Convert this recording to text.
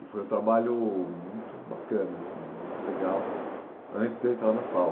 E foi um trabalho muito bacana assim, muito legal, antes de eu entrar na FAU.